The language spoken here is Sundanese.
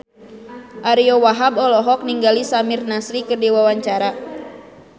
Ariyo Wahab olohok ningali Samir Nasri keur diwawancara